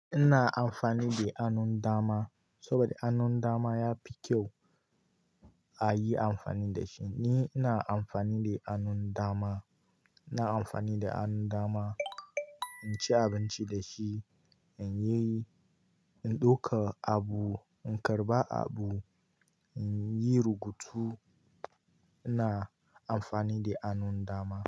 Ina amfani da hannun dama saboda hannun dama yafi kyau a yi amfani da shi. Ni ina amfani da hannun dama, ina amfani da hannun dama, in ci abinci da shi, in yi, in ɗauka abu, in karɓa abu, in yi rubutu. Ina amfani da hannun dama.